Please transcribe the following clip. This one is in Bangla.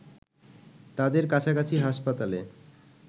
তাদের কাছাকাছি হাসপাতালে